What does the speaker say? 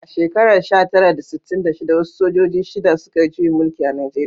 A shekarar sha tara da sittin da shida, wasu sojoji shida, suka yi juyin mulki a Najeriya